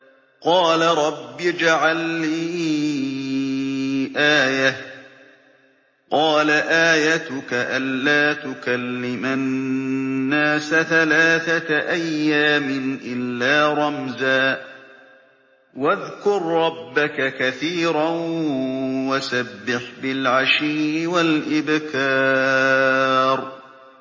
قَالَ رَبِّ اجْعَل لِّي آيَةً ۖ قَالَ آيَتُكَ أَلَّا تُكَلِّمَ النَّاسَ ثَلَاثَةَ أَيَّامٍ إِلَّا رَمْزًا ۗ وَاذْكُر رَّبَّكَ كَثِيرًا وَسَبِّحْ بِالْعَشِيِّ وَالْإِبْكَارِ